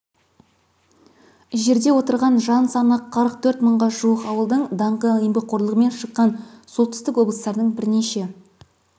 жерде отырған жан саны қырық төрт мыңға жуық ауылдың даңқы еңбекқорлығымен шыққан солтүстік облыстардың бірнеше